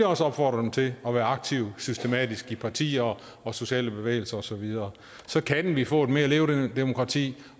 også opfordre dem til at være aktive systematisk i partier og sociale bevægelser og så videre så kan vi få et mere levedygtigt demokrati